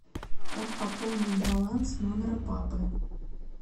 как пополнить баланс номера папы